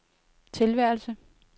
tilværelse